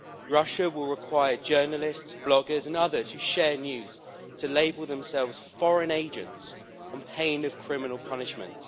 Russia will require journalists, bloggers and others who share news to label themselves foreign agents' on pain of criminal punishment.